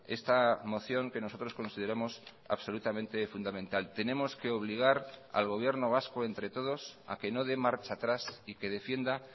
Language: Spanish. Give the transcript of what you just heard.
esta mociónque nosotros consideramos absolutamente fundamental tenemos que obligar al gobierno vasco entre todos a que no dé marcha atrás y que defienda